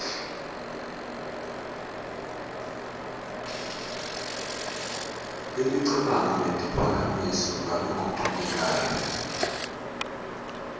imicabango netiphakamiso ngalokuchubekako